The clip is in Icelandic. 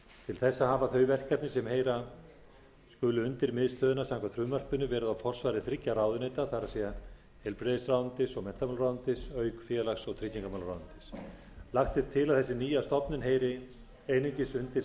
til þessa hafa þau verkefni sem heyra skulu undir miðstöðina samkvæmt frumvarpinu verið á forsvari þriggja ráðuneyta það er heilbrigðisráðuneytis og menntamálaráðuneytis auk félags og tryggingamálaráðuneytis lagt er til að þessi nýja stofnun heyri einungis undir